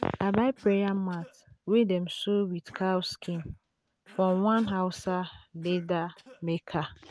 i buy um prayer mat wey dem sew with cow skin from one hausa leather maker.